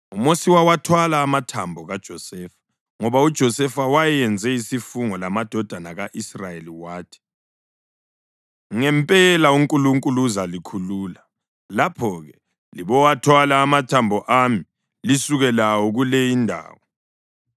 + 13.19 UGenesisi 50.25UMosi wawathwala amathambo kaJosefa ngoba uJosefa wayenze isifungo lamadodana ka-Israyeli wathi, “Ngempela uNkulunkulu uzalikhulula. Lapho-ke libowathwala amathambo ami lisuke lawo kule indawo.”